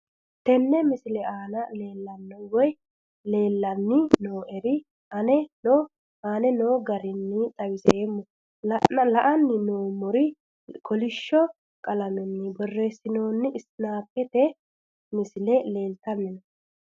Tenne misile aana laeemmo woyte leelanni noo'ere aane noo garinni xawiseemmo. La'anni noomorri kollishsho qalameni borreesinoonni snapchat misile leeltanni noe.